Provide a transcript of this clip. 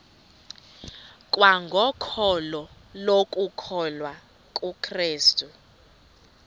kwangokholo lokukholwa kukrestu